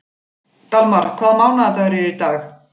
Dalmar, hvaða mánaðardagur er í dag?